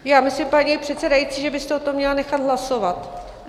Já myslím, paní předsedající, že byste o tom měla nechat hlasovat.